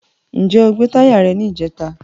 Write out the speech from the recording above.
Ǹjẹ́ gbé táyà rẹ ní ìjẹta?